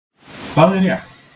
Hvað er rétt?